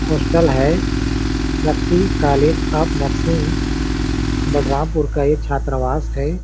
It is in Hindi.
हॉस्टल है Shakti college of nursing Balrampur का ये छात्रावास है।